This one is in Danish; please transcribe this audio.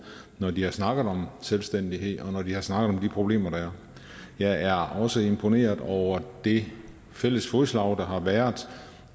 når de har snakket om selvstændighed og når de har snakket om de problemer der er jeg er også imponeret over det fælles fodslag der har været